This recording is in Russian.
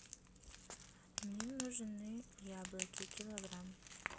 мне нужны яблоки килограмм